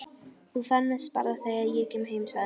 Þú fermist bara þegar ég kem heim, sagði mamma.